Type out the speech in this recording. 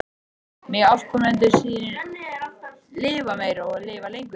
Megi afkomendur þínir lifa meir og lifa lengur.